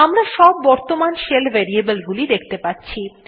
আমরা সব বর্তমান শেল variable গুলি সেখতে পাচ্ছি